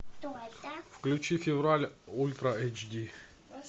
включи февраль ультра эйч ди